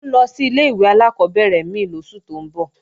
Ó ń lọ sí ilé-ìwé alákọ́bẹ̀rẹ̀ mí lóṣù tó ń bọ̀